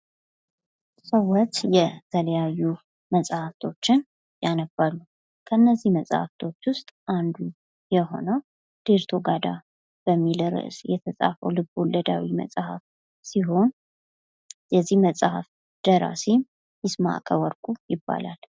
ሰዎች የተለያዩ መጽሐፍቶችን ያነባሉ ። ከእነዚህ መጽሐፍቶች ውስጥ አንዱ የሆነው ዴርቶጋዳ በሚል ርዕስ የተጻፈው ልቦለዳዊ መጽሐፍ ሲሆን የዚህ መጽሀፍ ደራሲ ይስማከ ወርቁ ይባላል ።